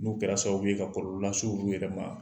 N'u kɛra sababu ye ka kɔlɔ lase olu yɛrɛ ma.